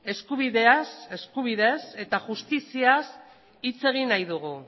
eskubideaz eskubideez eta justiziaz hitz egin nahi dugu